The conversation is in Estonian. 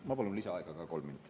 Ma palun lisaaega kolm minutit.